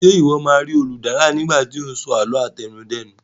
Ṣe iwọ ma ri Oludara nigba ti o ni so àlọ́ àtẹnudẹ́nu